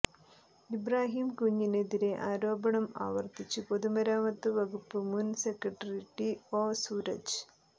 ഇബ്രാഹിംകുഞ്ഞിനെതിരെ ആരോപണംആവര്ത്തിച്ച് പൊതുമരാമത്ത് വകുപ്പ് മുന് സെക്രട്ടറി ടി ഒ സുരജ്